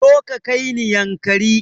Zo ka kaini yankari